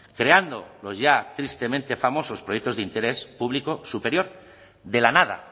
creando los ya tristemente famosos proyectos de interés público superior de la nada